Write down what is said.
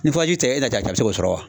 Ni furaji tɛ e n'ala cɛ a be se k'o sɔrɔ wa